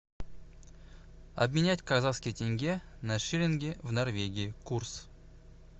обменять казахские тенге на шиллинги в норвегии курс